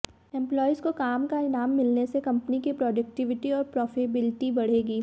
employees को काम का इनाम मिलने से कंपनियों की प्रॉडक्टिविटी और प्रॉफिटेबिलिटी बढ़ेगी